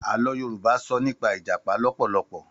Àlọ́ Yorùbá sọ nípa Ìjàpá lọ́pọ̀lọpọ̀.